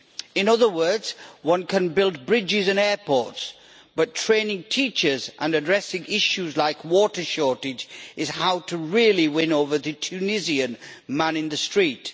In other words, one can build bridges and airports, but training teachers and addressing issues like water shortage is how to really win over the Tunisian man in the street.